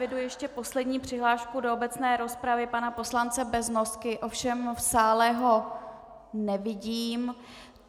Eviduji ještě poslední přihlášku do obecné rozpravy pana poslance Beznosky, ovšem v sále ho nevidím.